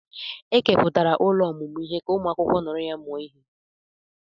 Ekepụtara ụlọ ọmụmụ ihe ka ụmụ akwụkwọ nọrọ mụọ ihe.